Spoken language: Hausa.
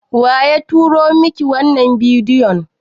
Waya turo miki wannan bidiyon?